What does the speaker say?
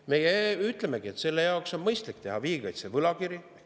Me ütlemegi, et on mõistlik teha riigikaitse võlakiri.